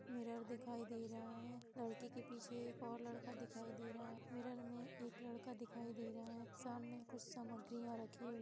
Mirror दिखाई दे रहा है। लड़के के पीछे और एक और लड़का दिखाई दे रहा है। मीरर में एक लड़का दिखाई दे रहा है। सामने कुछ सामग्रियां रखी हुई--